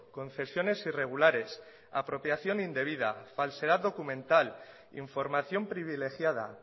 concesiones irregulares apropiación indebida falsedad documental información privilegiada